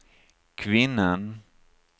kvinnan